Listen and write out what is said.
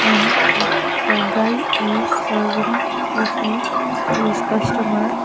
and the guy is serving coffee to his customer.